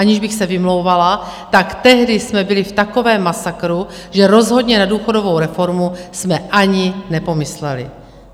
Aniž bych se vymlouvala, tak tehdy jsme byli v takovém masakru, že rozhodně na důchodovou reformu jsme ani nepomysleli.